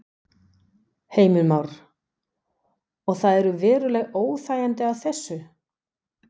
Heimir Már: Og það eru veruleg óþægindi af þessu?